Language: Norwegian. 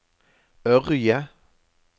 Ørje